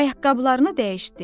Ayaqqabılarını dəyişdi.